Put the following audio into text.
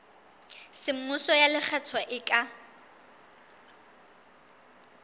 semmuso ya lekgetho e ka